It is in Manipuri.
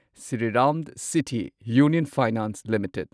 Shriram city union finance limited